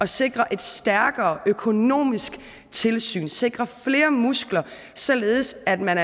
sikre et stærkere økonomisk tilsyn og sikre flere muskler således at man